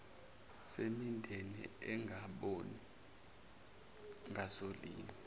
semindeni engaboni ngasolinye